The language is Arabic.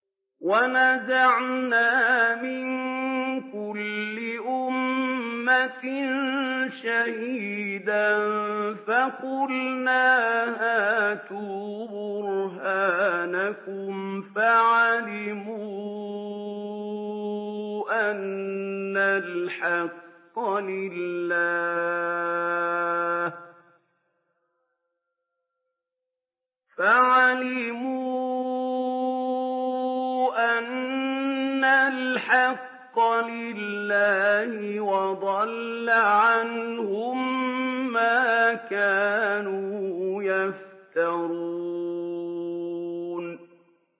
وَنَزَعْنَا مِن كُلِّ أُمَّةٍ شَهِيدًا فَقُلْنَا هَاتُوا بُرْهَانَكُمْ فَعَلِمُوا أَنَّ الْحَقَّ لِلَّهِ وَضَلَّ عَنْهُم مَّا كَانُوا يَفْتَرُونَ